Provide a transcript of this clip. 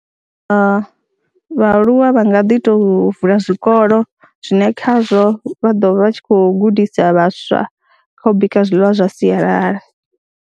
Vhaaluwa vha nga ḓi tou vula zwikolo zwine khazwo vha ḓo vha tshi khou gudisa vhaswa kha u bika zwiḽiwa zwa sialala.